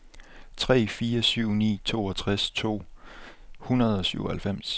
tre fire syv ni toogtres to hundrede og syvoghalvfems